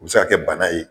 U bɛ se ka kɛ bana ye